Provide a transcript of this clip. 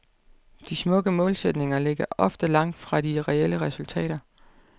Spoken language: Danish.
De smukke målsætninger ligger ofte langt fra de reelle resultater.